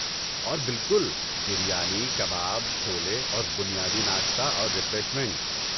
اور بالکل، بریانی، کباب، چھولے اور بنیادی ناشتہ اور ریفریشمنٹ